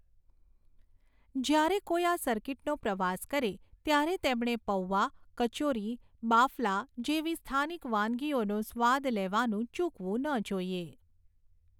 જ્યારે કોઈ આ સર્કિટનો પ્રવાસ કરે, ત્યારે તેમણે પૌઆ, કચોરી, બાફલા જેવી સ્થાનિક વાનગીઓનો સ્વાદ લેવાનું ચૂકવું ન જોઈએ.